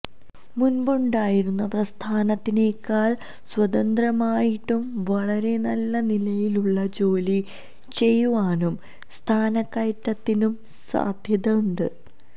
മുൻപുണ്ടായിരുന്ന പ്രസ്ഥാനത്തിനേക്കാൾ സ്വതന്ത്രമായിട്ടും വളരെ നല്ല നിലയിലുള്ള ജോലി ചെയ്യുവാനും സ്ഥാനക്കയറ്റത്തിനും സാധ്യത ഉണ്ട്